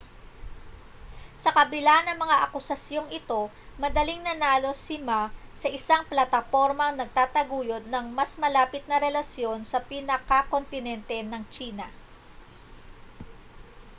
sa kabila na mga akusasyong ito madaling nanalo si ma sa isang platapormang nagtataguyod ng mas malapit na relasyon sa pinakakontinente ng tsina